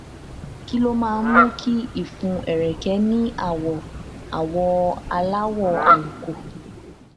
kí ló máa ń mú kí ìfun ẹrẹkẹ ní àwọ àwọ aláwọ àlùkò